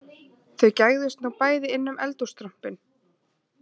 Þau gægðust nú bæði inn um eldhússtrompinn